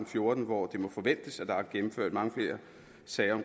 fjorten hvor det må forventes at der er gennemført mange flere sager